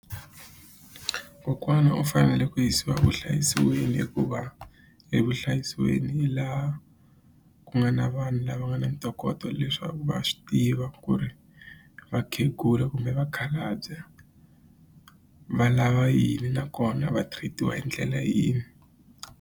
Kokwana u fanele ku yisiwa vuhlayisiweni hikuva evuhlayisiweni hi laha ku nga na vanhu lava nga na ntokoto leswaku va swi tiva ku ri vakhegula kumbe vakhalabya va lava yini nakona va treat-iwa hi ndlela yini.